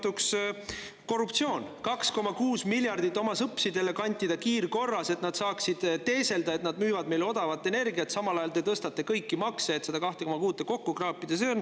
2,6 miljardit kiirkorras oma sõpsidele kantida, et nad saaksid teeselda, et nad müüvad meile odavat energiat, ja samal ajal tõstate kõiki makse, et seda 2,6 miljardit kokku kraapida.